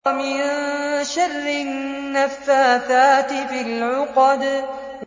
وَمِن شَرِّ النَّفَّاثَاتِ فِي الْعُقَدِ